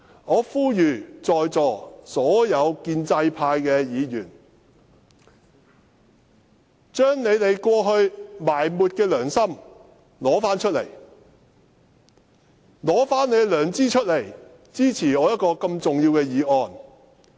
我呼籲在座所有建制派議員，將你們過去埋沒的良心拿出來，拿出你們的良知，支持我這項重要的議案。